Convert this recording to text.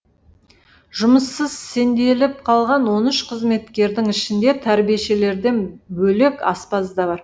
жұмыссыз сенделіп қалған он үш қызметкердің ішінде тәрбиешілерден бөлек аспаз да бар